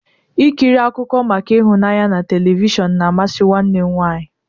Ịkiri akụkọ maka ịhụnanya na telivishọn na-amasị nwanne m nwaanyị.